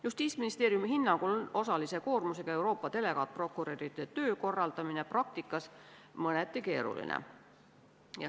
Justiitsministeeriumi hinnangul on osalise koormusega Euroopa delegaatprokuröride töö korraldamine praktikas mõneti keeruline.